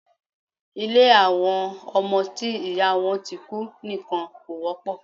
Ilé àwọn ọmọ tí ìyá wọn ti kú nìkan kò wọ́pọ̀.